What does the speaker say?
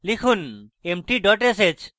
লিখুন empty dot sh